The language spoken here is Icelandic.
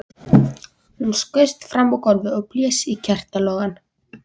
Hún skaust fram á gólfið og blés á kertalogann.